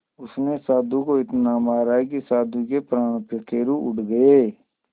उसने साधु को इतना मारा कि साधु के प्राण पखेरु उड़ गए